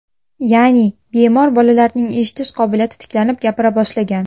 Ya’ni, bemor bolalarning eshitish qobiliyati tiklanib, gapira boshlagan.